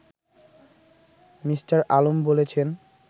me: Alam বলেছেন